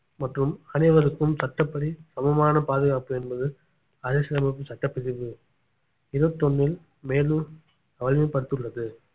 மற்றும் அனைவருக்கும் சட்டப்படி சமமான பாதுகாப்பு என்பது அரசியலமைப்பு சட்டப்பிரிவு இருபத்தி ஒண்ணில் மேலும் வலிமை படுத்துள்ளது